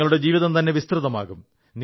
നിങ്ങളുടെ ജീവിതംതന്നെ വിസ്തൃതമാകും